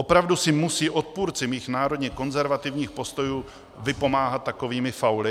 Opravdu si musí odpůrci mých národně konzervativních postojů vypomáhat takovými fauly?